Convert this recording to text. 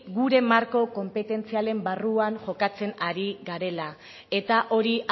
gure marko konpetentzialen barruan jokatzen ari garela eta hori